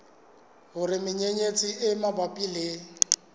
hore menyenyetsi e mabapi le